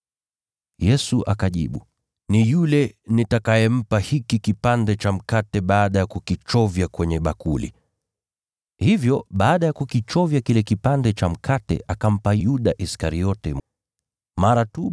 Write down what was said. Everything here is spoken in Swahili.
Yesu akajibu, “Ni yule nitakayempa hiki kipande cha mkate baada ya kukichovya kwenye bakuli.” Hivyo baada ya kukichovya kile kipande cha mkate, akampa Yuda Iskariote, mwana wa Simoni.